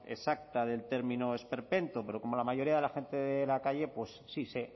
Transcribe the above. exacta del término esperpento pero como la mayoría de la gente de la calle pues sí sé